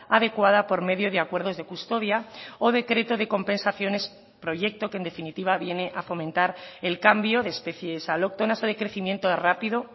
adecuada por medio de acuerdos de custodia o decreto de compensaciones proyecto que en definitiva viene a fomentar el cambio de especies alóctonas o de crecimiento rápido